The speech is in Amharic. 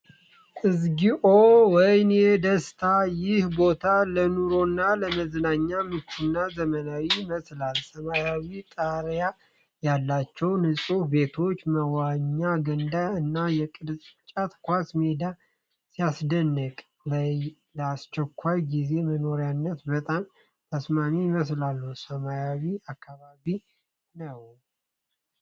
እግዚኦ! ወይኔ ደስታ! ይህ ቦታ ለኑሮና ለመዝናኛ ምቹና ዘመናዊ ይመስላል። ሰማያዊ ጣሪያ ያላቸው ንጹህ ቤቶች፣ መዋኛ ገንዳ እና የቅርጫት ኳስ ሜዳ ሲያስደንቅ። ለአስቸኳይ ጊዜ መኖሪያነት በጣም ተስማሚ ይመስላል። ሰላማዊ አካባቢ ነው።